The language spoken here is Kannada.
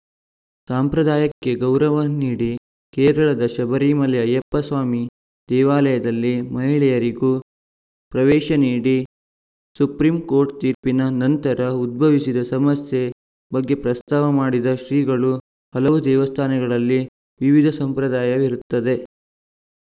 ಸಂಪ್ರದಾಯಕ್ಕೆ ಗೌರವ ನೀಡಿ ಕೇರಳದ ಶಬರಿಮಲೆ ಅಯ್ಯಪ್ಪಸ್ವಾಮಿ ದೇವಾಲಯದಲ್ಲಿ ಮಹಿಳೆಯರಿಗೂ ಪ್ರವೇಶ ನೀಡಿ ಸುಪ್ರಿಂ ಕೋರ್ಟ್‌ ತೀರ್ಪಿನ ನಂತರ ಉದ್ಭವಿಸಿದ ಸಮಸ್ಯೆ ಬಗ್ಗೆ ಪ್ರಸ್ತಾವ ಮಾಡಿದ ಶ್ರೀಗಳು ಹಲವು ದೇವಸ್ಥಾನಗಳಲ್ಲಿ ವಿವಿಧ ಸಂಪ್ರದಾಯವಿರುತ್ತದೆ